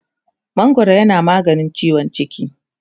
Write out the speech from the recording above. mangwaro yana maganin ciwon ciki